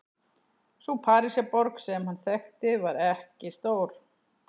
Sú Parísarborg sem hann þekkti var ekki stór.